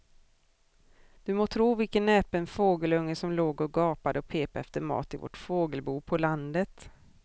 Du må tro vilken näpen fågelunge som låg och gapade och pep efter mat i vårt fågelbo på landet.